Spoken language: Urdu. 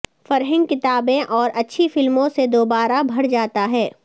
فرہنگ کتابیں اور اچھی فلموں سے دوبارہ بھر جاتا ہے